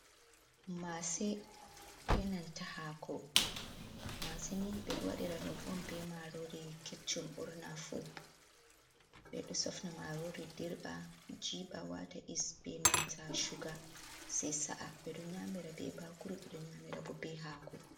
Mase be nanta hako. Mase ni ɓeɗo wadira ɗum on be marori keccum ɓurna fu. Ɓeɗo sofna marori dirba, jiɓa wata yis be nanta shuga, sai sa’a. Ɓedo nyamira be bakuru, ɓeɗo nyamira bo be hako.